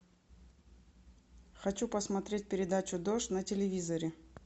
хочу посмотреть передачу дождь на телевизоре